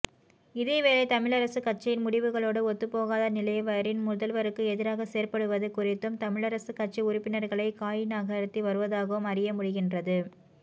இதேவேளை தமிழரசுக்கட்சியின் முடிவுகளோடு ஒத்துப்போகாத நிலைவரின் முதல்வருக்கு எதிராக செயற்படுவது குறித்தும் தமிழரசுக்கட்சி உறுப்பினர்கள் காய்நகர்த்தி வருவதாகவும் அறிய முடிகின்றது